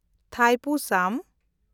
ᱛᱷᱟᱭᱯᱩᱥᱟᱢ